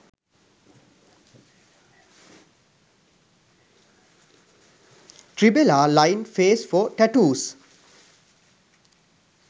tribala line face for tattoos